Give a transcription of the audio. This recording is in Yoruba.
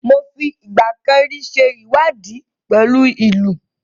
Mo fi ìgbà kan rí ṣe ìwádìí nípa ìlù.